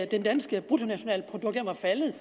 det danske bruttonationalprodukt var faldet